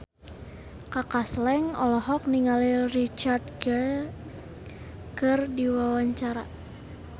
Kaka Slank olohok ningali Richard Gere keur diwawancara